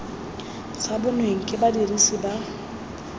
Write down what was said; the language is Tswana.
sa bonweng ke badirisi ba